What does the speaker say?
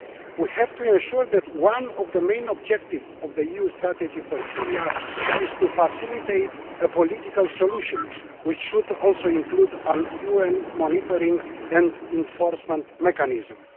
We have to ensure that one of the main objectives of the EU Strategy on Syria is to facilitate a political solution, which should also include a UN monitoring and enforcement mechanism.